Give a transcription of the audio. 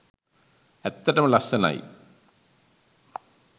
ඇත්තටම ලස්සනයි!